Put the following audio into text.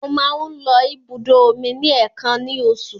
Mo máa ń lọ ibùdó omi ní èèkàn ní oṣù.